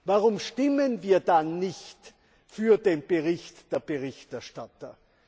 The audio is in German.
Warum stimmen wir dann nicht für den Bericht der Berichterstatter?